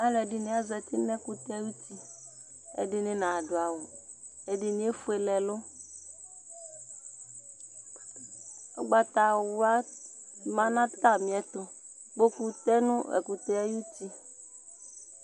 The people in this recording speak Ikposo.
Alʋɛdɩnɩ azati nʋ ɛkʋtɛ dɩ ayuti Ɛdɩnɩ nadʋ awʋ, ɛdɩnɩ efuele ɛlʋ Ʋgbatawla ma nʋ atamɩɛtʋ Kpoku tɛ nʋ ɛkʋtɛ yɛ ayuti